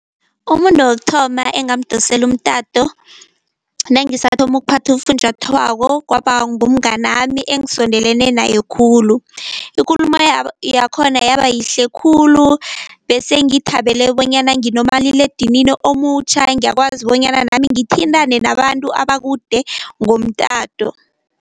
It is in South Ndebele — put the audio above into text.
Umuntu wokuthoma engamdosela umtato nangisathoma ukuphatha ufunjathwako kwaba ngumngani wami engisondelene naye khulu. Ikulumo yakhona yaba yihle khulu besengithabele bonyana nginomaliledinini omutjha, ngiyakwazi bonyana nami ngithintane nabantu abakude ngomtato.